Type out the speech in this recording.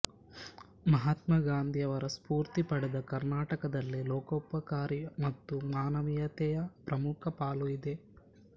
ಮಹಾತ್ಮ ಗಾಂಧಿಯವರ ಸ್ಫೂರ್ತಿ ಪಡೆದ ಕರ್ನಾಟಕದಲ್ಲಿ ಲೋಕೋಪಕಾರಿ ಮತ್ತು ಮಾನವೀಯತೆಯ ಪ್ರಮುಖ ಪಾಲು ಇದೆ